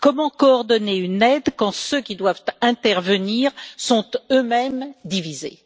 Comment coordonner une aide quand ceux qui doivent intervenir sont eux mêmes divisés?